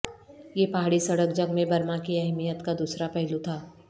یہ پہاڑی سڑک جنگ میں برما کی اہمیت کا دوسرا پہلو تھا